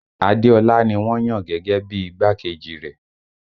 Adéọlá ni wọ́n yàn gẹ́gẹ́ bí i igbákejì rẹ̀